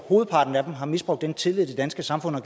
hovedparten af dem har misbrugt den tillid det danske samfund har